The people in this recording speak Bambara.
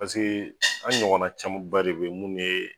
Paseke an ɲɔgɔnna caman ba de bɛ minnu ye